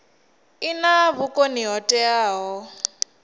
i na vhukoni ho teaho